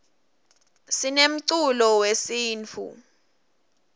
sinemculo wesintfu